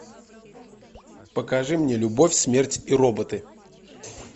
покажи мне любовь смерть и роботы